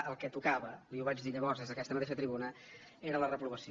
i el que tocava li ho vaig dir llavors des d’aquesta mateixa tribuna era la reprovació